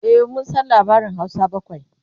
e mun San labarin Hausa bakwai